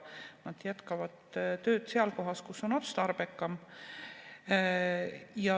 Nad jätkavad tööd seal kohas, kus on otstarbekam.